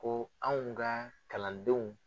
Ko anw ka kalandenw